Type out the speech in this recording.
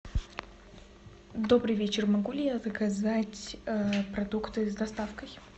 добрый вечер могу ли я заказать продукты с доставкой